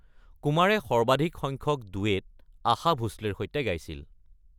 কুমাৰে সৰ্বাধিক সংখ্যক ডুৱেট আশা ভোছলেৰ সৈতে গাইছিল।